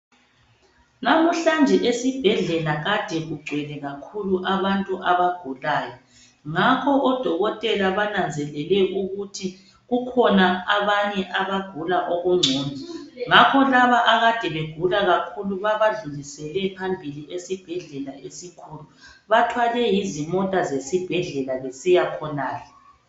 Namhlanje esibhedlela kade kugcwele kakhulu abantu abagulayo. Ngakho odokotela bananzelele ukuthi kukhona abanye abagula okungcono, ngakho labo akade begula kakhulu babadlulisele phambili esebhledlela esikhulu. Bathwelwe yizimota zesibhedlela besiyakhonale.